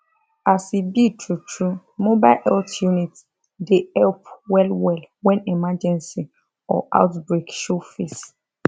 as e be truetrue mobile health unit dey help wellwell when emergency or outbreak show face